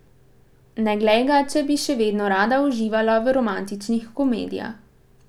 Ne glej ga, če bi še vedno rada uživala v romantičnih komedijah.